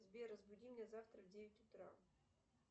сбер разбуди меня завтра в девять утра